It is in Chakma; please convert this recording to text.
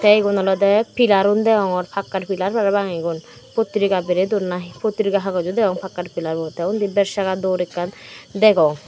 the igun olode pillar un degongor pakkar pillar parapang igun potrika berey dun potrika hagoj o degong pakkar pillar but the undi beksaga door ekkan degong.